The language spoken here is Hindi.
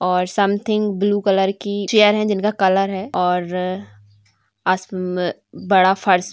और सम्थिंग ब्लू कलर की चैयर है जिनका कलर है और असम्म बड़ा फर्श--